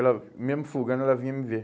Ela, mesmo folgando ela vinha me ver.